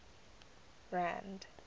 rand